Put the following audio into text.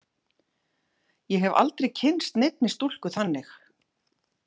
Ég hef aldrei kynnst neinni stúlku þannig.